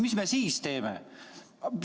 Mis me siis teeme?